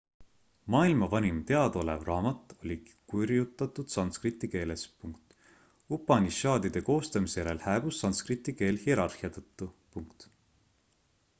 maailma vanim teadaolev raamat oli kirjutatud sanskriti keeles upanišadide koostamise järel hääbus sankskriti keel hierarhia tõttu